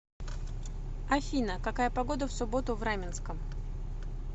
афина какая погода в субботу в раменском